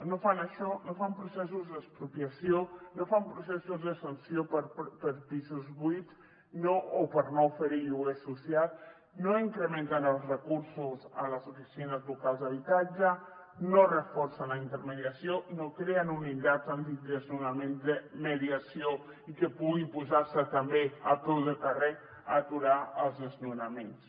no fan això no fan processos d’expropiació no fan processos de sanció per pisos buits o per no oferir lloguer social no incrementen els recursos a les oficines locals d’habitatge no reforcen la intermediació no creen unitats antidesnonament de mediació i que puguin posar se també a peu de carrer a aturar els desnonaments